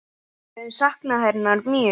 Við höfum saknað hennar mjög.